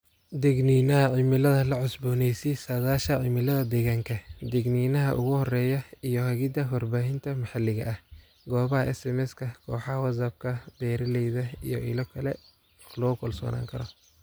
" Digniinaha Cimilada La cusboonaysii saadaasha cimilada deegaanka, digniinaha ugu horeeya iyo hagida warbaahinta maxaliga ah, goobaha SMS-ka, kooxaha WhatsApp-ka beeralayda iyo ilo kale oo lagu kalsoonaan karo."